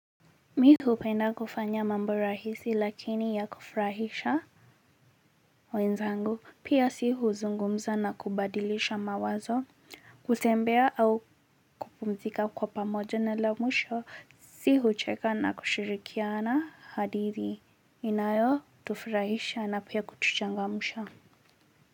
Mimi hupenda kufanya mambo rahisi lakini ya kufurahisha wenzangu pia. Sisi huzungumza na kubadilisha mawazo, kutembea au kupumzika kwa pamoja, na la mwisho sisi hucheka na kushirikiana, hadithi inayotufurahisha na pia kutuchangamsha.